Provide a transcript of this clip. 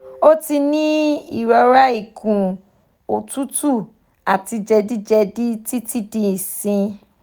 o ti ni irora ikun otutu ati jedijedi titi di isin